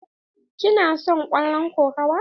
Ki na son kallon kokawa?